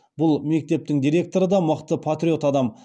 бұл мектептің директоры да мықты патриот адам